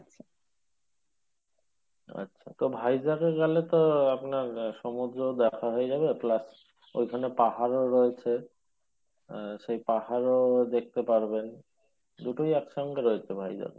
আচ্ছা তো ভাইজ্যাকে গেলে তো আপনার সমুদ্র দেখা হয়ে যাবে plus ওই খানে পাহাড়ও রয়েছে আহসেই পাহাড়ও দেখতে পারবেন দুটোই একসঙ্ঘে দেখতে পাওয়া যাবে।